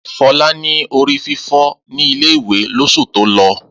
Fọlá ní orí fífọ́ ní ilé-ìwé lóṣù tó lọ.